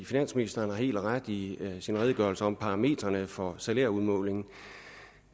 finansministeren har helt ret i sin redegørelse om parametrene for salærudmålingen